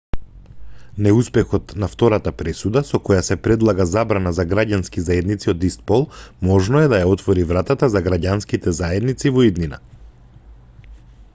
неуспехот на втората пресуда со која се предлага забрана за граѓански заедници од ист пол можно е да ја отвори вратата за граѓанските заедници во иднина